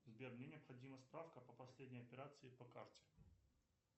сбер мне необходима справка по последней операции по карте